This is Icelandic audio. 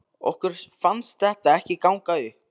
Okkur fannst þetta ekki ganga upp.